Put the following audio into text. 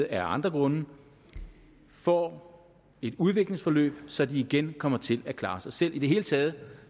af andre grunde får et udviklingsforløb så de igen kommer til at klare sig selv i det hele taget